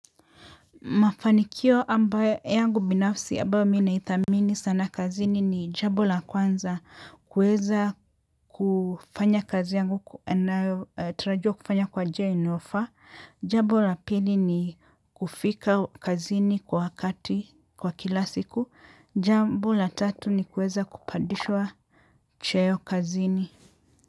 Mafanikio ambayo yangu binafsi ambayo mimi naidhamini sana kazini ni jambo la kwanza kuweza kufanya kazi yangu na tarajia kufanya kwa njia inayofaa. Jambo la pili ni kufika kazini kwa wakati kwa kila siku. Jambo la tatu ni kuweza kupandishwa cheo kazini.